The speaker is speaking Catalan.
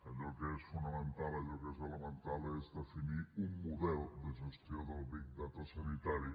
allò que és fonamental allò que és elemental és definir un model de gestió del big data sanitari